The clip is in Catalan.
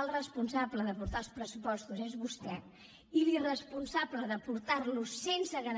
el responsable de portar els pressupostos és vostè i l’irresponsable de portar los sense seva